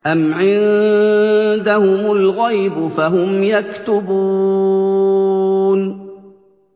أَمْ عِندَهُمُ الْغَيْبُ فَهُمْ يَكْتُبُونَ